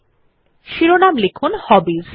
তাই শিরোনাম লিখুন হবিস